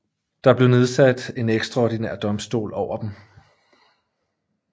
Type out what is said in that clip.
Der blev nedsat en ekstraordinær domstol over dem